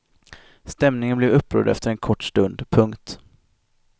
Stämningen blev upprörd efter en kort stund. punkt